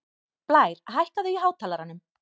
Blær, hækkaðu í hátalaranum.